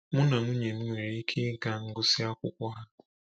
Mụ na nwunye m nwere ike ịga ngụsị akwụkwọ ha.